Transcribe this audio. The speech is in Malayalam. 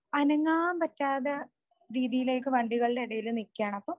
അനങ്ങാൻ പറ്റാതെ രീതിയിലേക്ക് വണ്ടികളുടെ ഇടയിൽ നിക്കാണ് അപ്പൊ